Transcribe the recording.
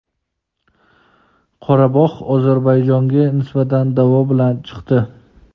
Qorabog‘ Ozarbayjonga nisbatan da’vo bilan chiqdi.